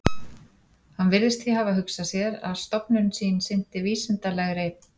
Hann virðist því hafa hugsað sér, að stofnun sín sinnti vísindalegri